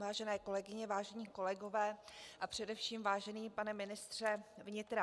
Vážené kolegyně, vážení kolegové a především vážený pane ministře vnitra.